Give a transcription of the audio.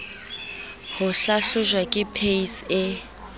ho hlahlojwa ke pac e